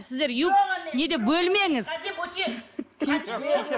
сіздер юг не деп бөлмеңіз